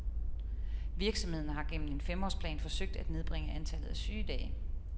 Virksomheden har gennem en femårsplan forsøgt at nedbringe antallet af sygedage.